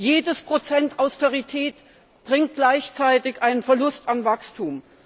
Jedes Prozent Austerität bringt gleichzeitig einen Verlust an Wachstum.